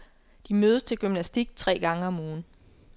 De mødes til gymnastik tre gange om ugen.